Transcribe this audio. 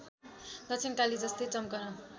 दक्षिणकाली जस्तै चम्कन